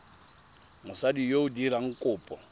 mosadi yo o dirang kopo